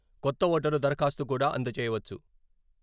కొత్త ఓటరు దరఖాస్తు కూడా అందజేయవచ్చు.